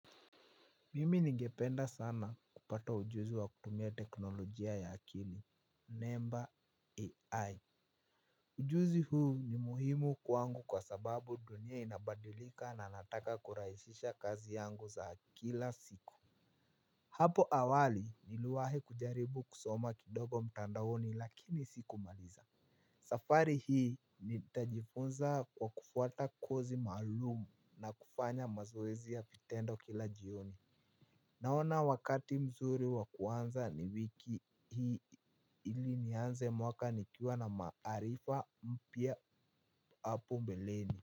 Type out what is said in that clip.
Mimi ningependa sana kupata ujuzi wa kutumia teknolojia ya akili, NEMBA AI. Ujuzi huu ni muhimu kwangu kwa sababu dunia inabadilika na nataka kurahisisha kazi yangu za kila siku. Hapo awali niliwahi kujaribu kusoma kidogo mtandaoni lakini sikumaliza. Safari hii nitajifunza kwa kufuata kozi maalumu na kufanya mazoezi ya vitendo kila jioni. Naona wakati mzuri wa kuanza ni wiki hii ili nianze mwaka nikiwa na maarifa mpya hapo mbeleni.